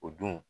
O dun